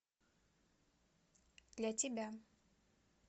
для тебя